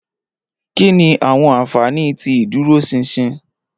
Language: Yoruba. Kini awọn anfani ti iduroṣinṣin?